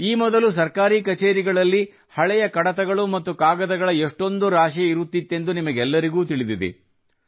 ಈ ಮೊದಲು ಸರ್ಕಾರಿ ಕಚೇರಿಗಳಲ್ಲಿ ಹಳೆಯ ಕಡತಗಳು ಮತ್ತು ಕಾಗದಗಳ ಎಷ್ಟೊಂದು ರಾಶಿ ಇರುತ್ತಿತ್ತೆಂದು ನಿಮಗೆಲ್ಲರಿಗೂ ತಿಳಿದಿದೆ